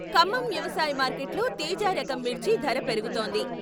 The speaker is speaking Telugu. ఖమ్మం వ్యవసాయ మార్కెట్లో తేజా రకం మిర్చి ధర పెరుగుతోంది.